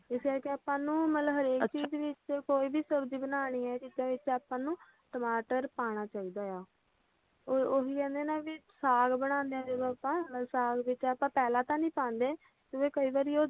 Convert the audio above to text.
ਇਸ ਵਿੱਚ ਆਪਾ ਨੂੰ ਮਤਲੱਬ ਹਰੇਕ ਚੀਜ਼ ਵਿਚ ਕੋਈ ਵੀ ਸਬਜ਼ੀ ਬਨਾਨੀ ਆ ਜਿਸ ਵਿਚ ਆਪਾਂ ਨੂੰ ਟਮਾਟਰ ਪਾਣਾ ਚਾਹੀਦਾ ਆ ਉਹੀ ਕਹਿੰਦੇ ਆ ਨਾ ਵੀ ਸਾਗ ਬਨਾਨੇ ਆ ਜਦੋਂ ਆਪਾਂ ਮਤਲੱਬ ਸਾਗ ਵਿਚ ਆਪਾਂ ਪਹਿਲਾਂ ਤਾਂ ਨੀ ਪਾਂਦੇ ਕਿਉਂਕਿ ਕਈ ਵਾਰੀ ਉਹ